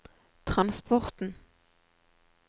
transporten